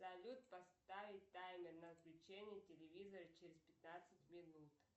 салют поставить таймер на отключение телевизора через пятнадцать минут